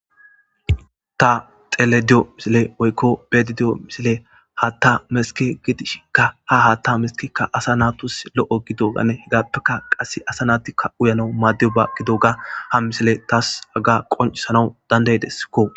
ta xelediyo misile woykko bedidiyo misile hatta meske gidishikka ha haatta meskikka asa natus lo7o gido ganne hegappeka qasse asa naatikka uyana maaddiyo ba gido ga ha misile taas haga qoncisana dandaydesskko